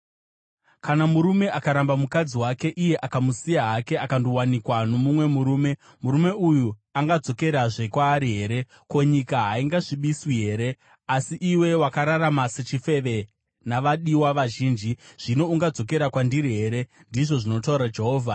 “Kana murume akaramba mukadzi wake, iye akamusiya hake akandowanikwa nomumwe murume, murume uyu angadzokerazve kwaari here? Ko, nyika haingasvibiswi here? Asi iwe wakararama sechifeve navadiwa vazhinji, zvino ungadzokera kwandiri here?” ndizvo zvinotaura Jehovha.